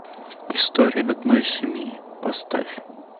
история одной семьи поставь